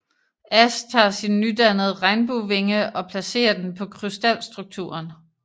Ash tager sin nydannede Regnbuevinge og placerer den på krystalstrukturen